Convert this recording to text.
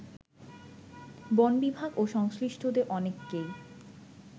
বনবিভাগ ও সংশ্লিষ্টদের অনেককেই